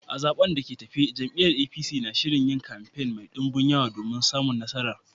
A zaɓen da ke tafe, jam’iyyar APC na shirin yin kamfe mai dumbin yawa domin samun nasara